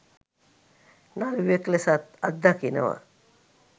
නළුවෙක් ලෙසත් අත්දකිනවා..